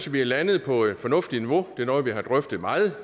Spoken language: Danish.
vi er landet på et fornuftigt niveau det er noget vi har drøftet meget